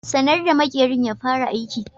Sanar da makerin ya fara aiki.